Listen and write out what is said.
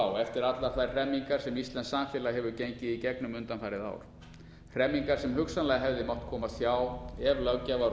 á eftir allar þær hremmingar sem íslenskt samfélag hefur gengið í gegnum undanfarið ár hremmingar sem hugsanlega hefði mátt komast hjá ef löggjafar og